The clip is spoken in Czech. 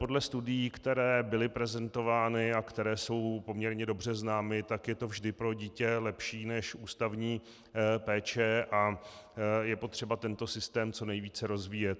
Podle studií, které byly prezentovány a které jsou poměrně dobře známy, tak je to vždy pro dítě lepší než ústavní péče a je potřeba tento systém co nejvíce rozvíjet.